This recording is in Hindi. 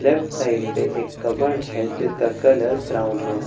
लेफ्ट साइड पे एक कप्बर्ड हैं जिसका कलर ब्राउन हैं कप्बर्ड --